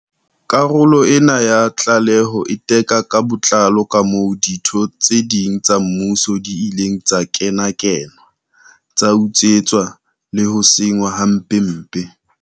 Karolo ena ya tlaleho e teka ka botlalo kamoo ditheo tse ding tsa mmuso di ileng tsa kenakenwa, tsa utswetswa le ho senngwa hampempe.